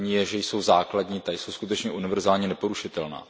První je, že jsou základní, ta jsou skutečně univerzálně neporušitelná.